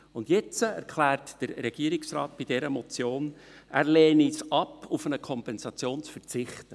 Und jetzt erklärt der Regierungsrat bei dieser Motion, er lehne es ab, auf eine Kompensation zu verzichten.